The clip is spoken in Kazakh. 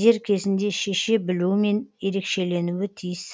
дер кезінде шеше білуімен ерекшеленуі тиіс